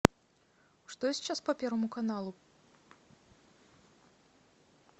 что сейчас по первому каналу